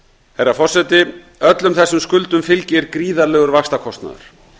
herra forseti öllum þessum skuldum fylgir gríðarlegur vaxtakostnaður